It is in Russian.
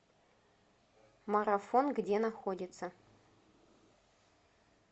марафон где находится